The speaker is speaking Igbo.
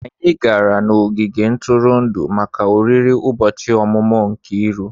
Anyị gara n'ogige ntụrụndụ maka oriri ụbọchị ọmụmụ Nkiru.